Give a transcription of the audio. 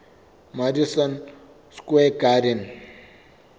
madison square garden